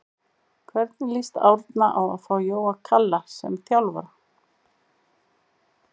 Hvernig lýst Árna á að fá Jóa Kalla sem þjálfara?